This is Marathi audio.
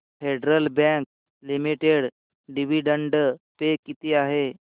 federal bank limited dividend pay किती आहे